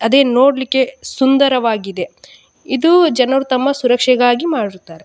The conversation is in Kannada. ಅದೇ ನೋಡ್ಲಿಕ್ಕೆ ಸುಂದರವಾಗಿದೆ ಇದು ಜನರು ತಮ್ಮ ಸುರಕ್ಷೆಗಾಗಿ ಮಾಡಿರುತ್ತಾರೆ --